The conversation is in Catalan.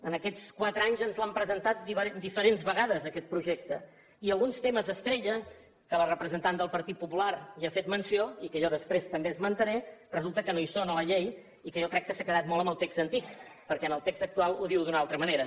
en aquests quatre anys ens l’han presentat diferents vegades aquest projecte i alguns temes estrella que la representant del partit popular n’ ha fet menció i que jo després també esmentaré resulta que no hi són a la llei i que jo crec que s’ha quedat molt amb el text antic perquè en el text actual ho diu d’una altra manera